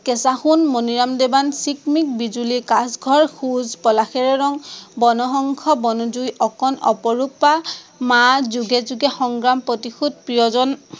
কেঁচা সোন, মনিৰাম দেৱান, চিকমিক বিজূলী, কাঁচঘৰ, খোঁজ, পলাশৰে ৰং, বনহংস, বনজুই, অকন, অপৰূপা, মা যোগে যোগে সংগ্ৰাম, প্ৰতিশোধ, প্ৰিয়জন